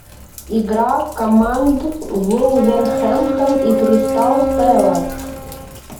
игра команд вулверхэмптон и кристал пэлас